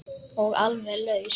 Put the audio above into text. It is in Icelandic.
Og alveg laus.